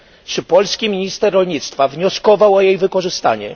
Czy polski minister rolnictwa wnioskował o jej wykorzystanie?